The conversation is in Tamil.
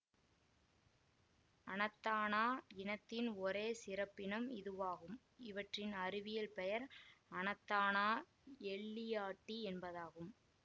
அணத்தானா இனத்தின் ஒரே சிறப்பினம் இதுவாகும் இவற்றின் அறிவியல் பெயர் அணத்தானா எல்லியாட்டி என்பதாகும்